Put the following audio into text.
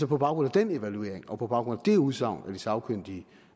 på baggrund af den evaluering og på baggrund af det udsagn af de sagkyndige